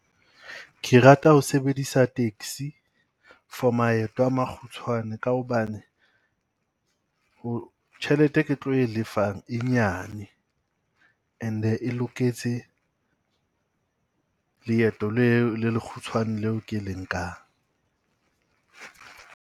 Ke rata ho sebedisa taxi for maeto a makgutshwane ka hobane ho tjhelete e ke tlo e lefang e nyane. And-e loketse leeto le le lekgutshwane le o ke le nkang.